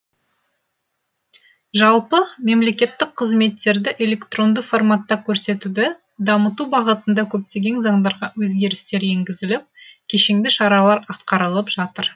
жалпы мемлекеттік қызметтерді электронды форматта көрсетуді дамыту бағытында көптеген заңдарға өзгерістер енгізіліп кешенді шаралар атқарылып жатыр